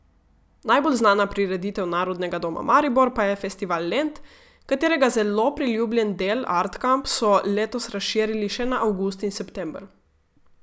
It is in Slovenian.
Najbolj znana prireditev Narodnega doma Maribor pa je Festival Lent, katerega zelo priljubljen del Art Kamp so letos razširili še na avgust in september.